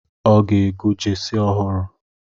Ha ga-ego jesi ọhụrụ